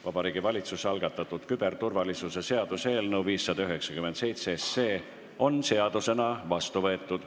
Vabariigi Valitsuse algatatud küberturvalisuse seaduse eelnõu 597 on seadusena vastu võetud.